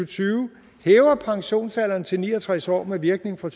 tyve hæver pensionsalderen til ni og tres år med virkning fra